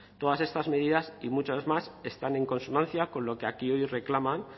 todas estas medidas y muchas más están en consonancia con lo que aquí hoy reclaman